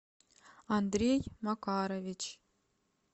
андрей макарович